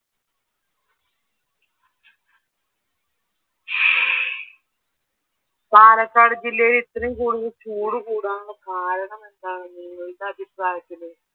പാലക്കാട് ജില്ലയില് ഇത്രയും കൂടുതൽ ചൂട് കൂടാനുള്ള കാരണമെന്താണ് നിങ്ങളുടെ അഭിപ്രായത്തില്?